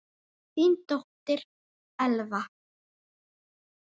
Þín dóttir, Elfa.